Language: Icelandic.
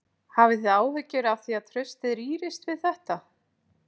Hafið þið áhyggjur af því að traustið rýrist við þetta?